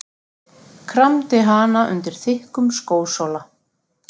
Kramdi hana undir þykkum skósóla.